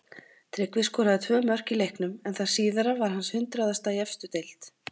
Tryggvi skoraði tvö mörk í leiknum en það síðara var hans hundraðasta í efstu deild.